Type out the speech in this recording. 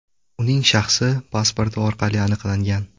Uning shaxsi pasporti orqali aniqlangan.